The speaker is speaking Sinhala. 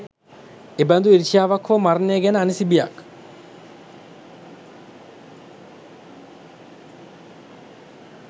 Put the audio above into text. එබඳු ඊර්ෂ්‍යාවක් හෝ මරණය ගැන අනිසි බියක්